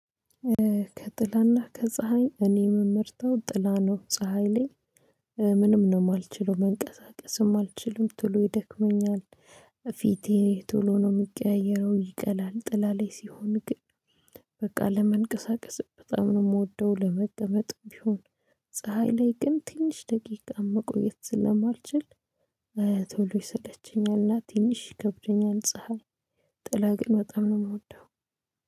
ከጥላና ከፀሀይ እኔ የምመርተው ጥላ ነው ፀሀይ ለይ ምንም ነው የማልችለው መንቀሳቀስም አልችልም ቶሎ ይደክመኛል። ፊቴ ቶሎ ነው የሚቀያየረው ይቀላል ጥላላ ላይ ሲሆን ግን። በቃ ለመንቀሳቀስ በጣም ነው የምወደው ለመቀመጥም ቢሆን። ፀሀይ ላይ ግን ትንሽ ደቂቃ መቆየት ስለማልችል ቶሎ ይሰለቸኛልና ትንሽ ይከብደኛል ፀሀይ። ጥላ ግን በጣም ነው የምወደው